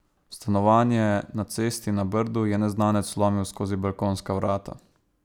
V stanovanje na Cesti na Brdu je neznanec vlomil skozi balkonska vrata.